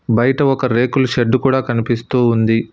బయట ఒక రేకుల షెడ్డు కూడా కనిపిస్తూ ఉంది.